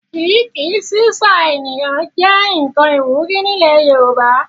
Kíí-ki/sísà ènìyàn jẹ nkan iwuri ni ilẹ̀ Yorùbá.